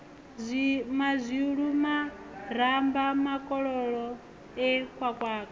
mazwilu maramba makoloko e khwakhwa